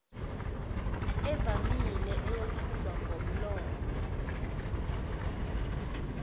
evamile eyethulwa ngomlomo